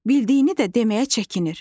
Bildiyini də deməyə çəkinir.